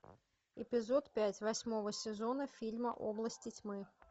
эпизод пять восьмого сезона фильма области тьмы